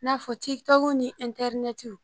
N'a fɔ ni